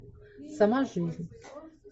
сама жизнь